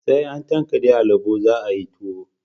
Sai an tankade alubo za a yi tuwo